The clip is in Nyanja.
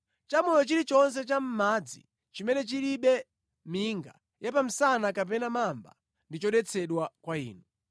Chamoyo chilichonse cha mʼmadzi chimene chilibe minga ya pa msana kapena mamba ndi chodetsedwa kwa inu.